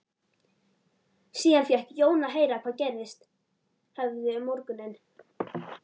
Síðan fékk Jón að heyra hvað gerst hafði um morguninn.